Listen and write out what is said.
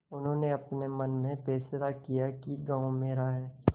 उन्होंने अपने मन में फैसला किया कि गॉँव मेरा है